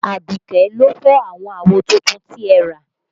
Aduke ló fọ́ àwọn àwo tuntun tí ẹ rà